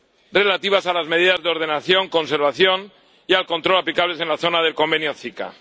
relativas a las medidas de ordenación, conservación y control aplicables en la zona del convenio de la CICAA.